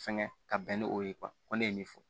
Fɛngɛ ka bɛn ni o ye ko ne ye nin fɔ